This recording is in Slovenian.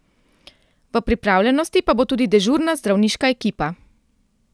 V pripravljenosti pa bo tudi dežurna zdravniška ekipa.